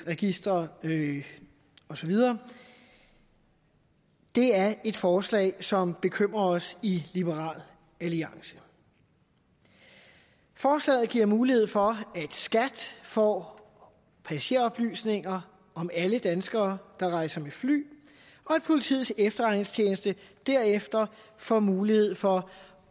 register og så videre er et forslag som bekymrer os i liberal alliance forslaget giver mulighed for at skat får passageroplysninger om alle danskere der rejser med fly og at politiets efterretningstjeneste derefter får mulighed for